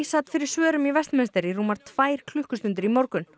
sat fyrir svörum í Westminster í rúmar tvær klukkustundir í morgun